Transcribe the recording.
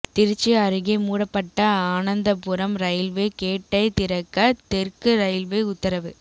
திருச்சி அருகே மூடப்பட்ட ஆனந்தபுரம் ரயில்வே கேட்டை திறக்க தெற்கு ரயில்வே உத்தரவு